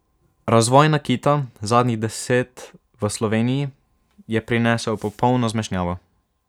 Razvoj nakita zadnjih deset v Sloveniji je prinesel popolno zmešnjavo.